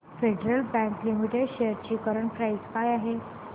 federal Bank Limited shares ची current price काय आहे